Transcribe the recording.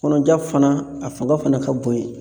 Kɔnɔja fana a fanga fana ka bon ye.